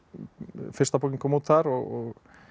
fyrsta bókin kom út þar og